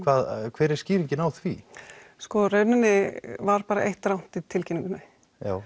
hver er skýringin á því sko í rauninni var bara eitt rangt í tilkynningunni